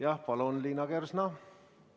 Jah, palun, Liina Kersna!